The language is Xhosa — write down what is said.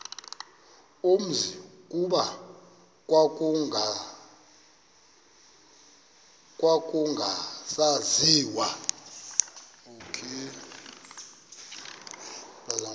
umzi kuba kwakungasaziwa